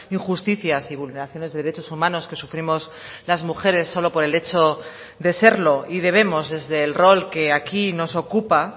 injusticias y vulneraciones de derechos humanos que sufrimos las mujeres solo por el hecho de serlo y debemos desde el rol que aquí nos ocupa